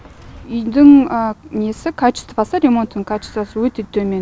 үйдің несі качествосы ремонттың качествосы өте төмен